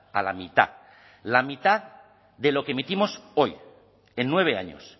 a la mitad la mitad de lo que emitimos hoy en nueve años